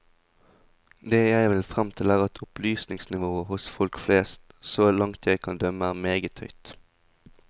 Det jeg vil frem til er at opplysningsnivået hos folk flest, så langt jeg kan bedømme, er meget høyt.